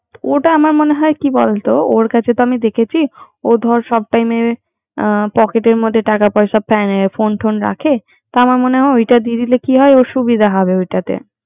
ওটা আমার মনে হয় কি বলতো ওর কাছে তো দেখেছি, ওর ধর সব সময়ে পকেটে টাকা পয়সা ফোন টোন রাখে। তা আমার মনে ওটা দিয়ে দিলে সুবিধা হবে ওটাতে